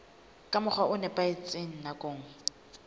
ka mokgwa o nepahetseng nakong